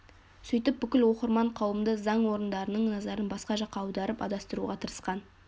сөйтіп бүкіл оқырман қауымды заң орындарының назарын басқа жаққа аударып адастыруға тырысқан